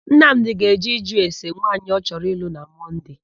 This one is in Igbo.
Nnamdì ga-eje ịjụ ese nwaanyị ọ chọrọ ịlụ na Mọnde.